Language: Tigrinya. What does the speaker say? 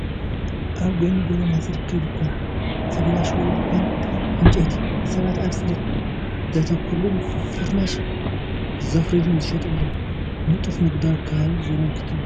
ኣብ ጎኒ ጎደና ዝርከብ ድኳን ፍርናሽ ወይ ድኳን ዕንጨይቲ። ሰባት ኣብ ጽሬት ዘተኮሩሉን ፍርናሽ ዘፍርዩሉን ዝሸጡሉን ንጡፍ ንግዳዊ ከባቢ ዘመልክት እዩ።